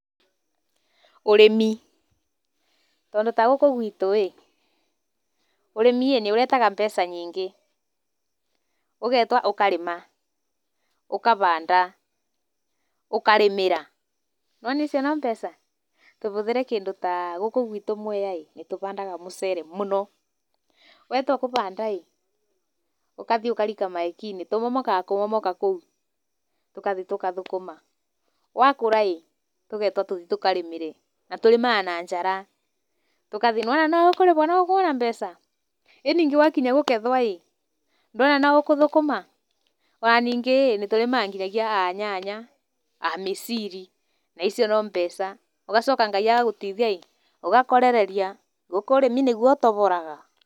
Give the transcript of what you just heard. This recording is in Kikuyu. Ũrĩmi. Tondũ ta gũkũ gwitũ rĩ, ũrĩmi nĩ ũrehaga mbeca nyingĩ, ũkahanda, ũkarĩmĩra. Nĩ wona icio no mbeca? Tũhũthĩre kĩndũ ta gũkũ gwitũ Mwea rĩ, nĩ tũhandaga mũcere mũno. Watua kũhanda ĩĩ, ũgathiĩ ũkarika maikinĩ. Tũmomokaga kũmomoka kũu. Tũgathiĩ tũgathũkũma. Wakũra ĩĩ, tũgetwo tũthiĩ tũkarĩmĩre. Na tũrĩmaga na njara. Nĩwona no ũkuona mbeca? Nngĩ wakinya kũgethwo rĩ, nĩ wona no ũgũthũkũma? Ona ningĩ rĩ, nĩ tũrĩmaga nginya nyanya, mĩciri. Na icio no mbeca. ũgacoka Ngai agagũteithia ĩĩ, ũgakorereria gũkũ ũrĩmi nĩguo ũtoboraga.